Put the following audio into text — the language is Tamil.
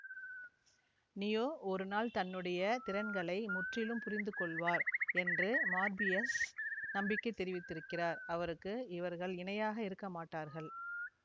நியோ ஒருநாள் தன்னுடைய திறன்களை முற்றிலும் புரிந்துகொள்வார் என்று மார்பியஸ் நம்பிக்கை தெரிவித்திருக்கிறார் அவருக்கு இவர்கள் இணையாக இருக்கமாட்டார்கள்